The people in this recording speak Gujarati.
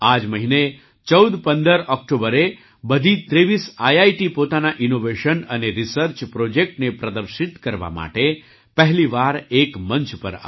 આ જ મહિને ૧૪૧૫ ઑક્ટોબરે બધી ૨૩ આઈઆઈટી પોતાનાં ઇનૉવેશન અને રીસર્ચ પ્રૉજેક્ટને પ્રદર્શિત કરવા માટે પહેલી વાર એક મંચ પર આવી